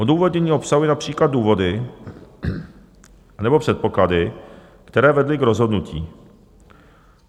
Odůvodnění obsahuje například důvody nebo předpoklady, které vedly k rozhodnutí.